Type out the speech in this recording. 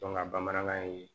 bamanankan ye